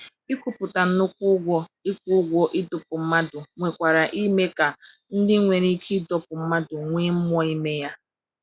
Ikwupụta nnukwu ụgwọ ịkwụ ụgwọ ịdọkpụ mmadụ nwekwara ike ime ka ndị nwere ike ịdọkpụ mmadụ nwee mmụọ ime ya.